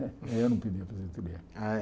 Eu não pedi aposentadoria. Eh